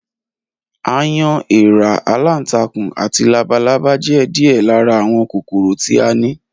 Aáyán, eèra, aláǹtakùn, àti labalábá jé̩ díè̩ lára àwo̩n kòkòrò tí a ní